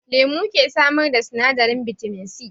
Lemu ke samar da sinadarin bitamin C